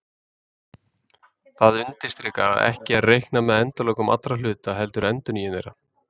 það undirstrikar að ekki er reiknað með endalokum allra hluta heldur endurnýjun þeirra